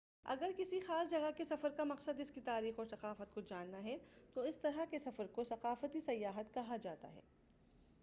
اگر کسی خاص جگہ کے سفر کا مقصد اس کی تاریخ اور ثقافت کو جاننا ہے تو اس طرح کے سفر کو ثقافتی سیاحت کہا جاتا ہے